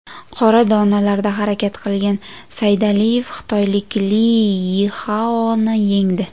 Qora donalarda harakat qilgan Saydaliyev xitoylik Li Yixaoni yengdi.